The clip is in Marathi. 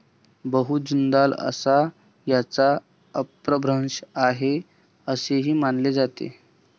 बहू जुंदाल असा याचा अपभ्रंश आहे असेही मानले जाते